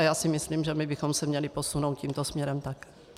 A já si myslím, že my bychom se měli posunout tímto směrem taky.